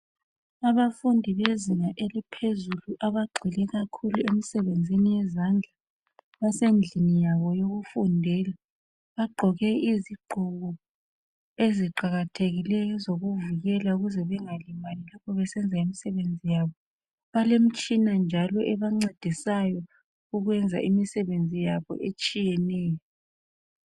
Abafundi bezinga eliphezulu abagxile kakhulu emsebenzini yezandla .Basendlini yabo yokufundela .Bagqoke izigqoko eziqakathekileyo ezokuvikela ukuze bengalimali lapho besenza imsebenzi yabo .Balemitshina njalo ebancedisayo ukwenza imsebenzi yabo etshiyeneyo .